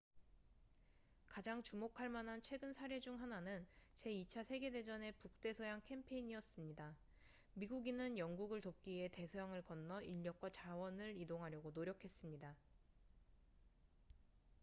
가장 주목할 만한 최근 사례 중 하나는 제2차 세계 대전의 북대서양 캠페인이었습니다 미국인은 영국을 돕기 위해 대서양을 건너 인력과 자원을 이동하려고 노력했습니다